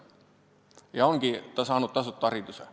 Ja ongi ta saanud tasuta hariduse.